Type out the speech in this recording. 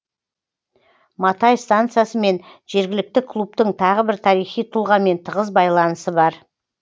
матай станциясы мен жергілікті клубтың тағы бір тарихи тұлғамен тығыз байланысы бар